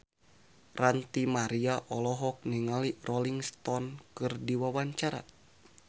Ranty Maria olohok ningali Rolling Stone keur diwawancara